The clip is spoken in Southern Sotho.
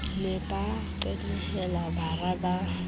ne ba qenehela bara ba